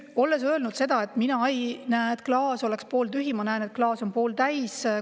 Olen öelnud, et mina ei näe, et klaas on pooltühi, vaid ma näen, et klaas on pooltäis.